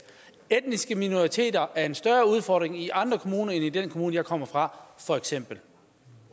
etniske minoriteter er en større udfordring i andre kommuner end i den kommune jeg kommer fra for eksempel